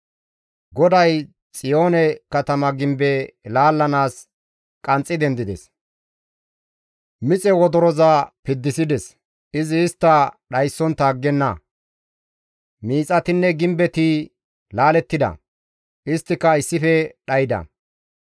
GODAY Xiyoone katama gimbe laallanaas qanxxi dendides; mixe wodoroza piddisides; izi istta dhayssontta aggenna; miixatinne gimbetti laalettida; isttika issife dhayda.